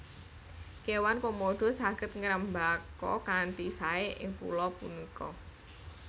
Kéwan Komodo saged ngrembaka kanthi saé ing pulo punika